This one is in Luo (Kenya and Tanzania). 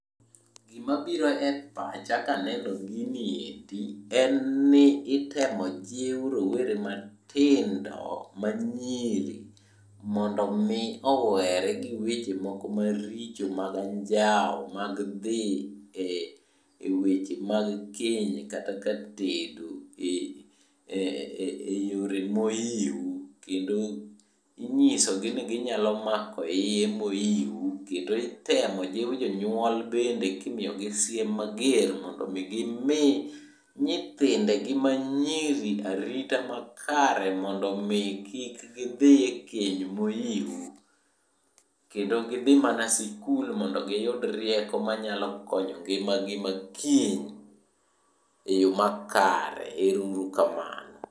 Gimabiro e pacha kaneno giniendi en ni itemo jiw rowere matindo manyiri mondomi owere gi weche moko maricho mag anjawo mag dhi e weche mag keny kata katedo e yore mohiu. Kendo inyisogi ni ginyalo mako iye mohiu, kendo itemo jiw jonyuol bende kimiyogi siem mager mondo gimi nyithindegi manyiri arita makare mondo kik gidhi e keny mohiu. Kendo gidhi mana sikul mondo giyud rieko manyalo konyo ngimagi ma kiny e yo makare. Ero uru kamano.